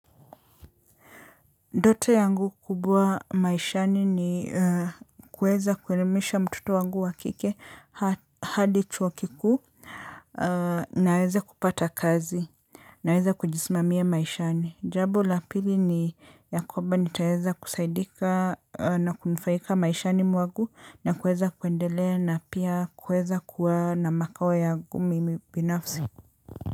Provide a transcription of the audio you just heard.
Ndoto yangu kubwa maishani ni kuweza kuelimisha mtoto wangu wa kike hadi chuo kikuu. Na aweze kupata kazi. Na aweze kujisimamia maishani. Jambo la pili ni ya kwamba nitaweza kusaidika na kunufaika maishani mwangu na kuweza kuendelea na pia kuweza kuwa na makao yangu mimi binafsi.